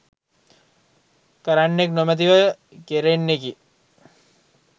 කරන්නෙක් නොමැතිව කෙරෙන්නකි.